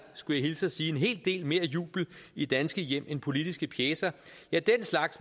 skulle hilse og sige vækker en hel del mere jubel i danske hjem end politiske pjecer